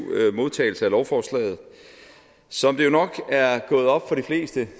modtagelse af lovforslaget som det jo nok er gået op for de fleste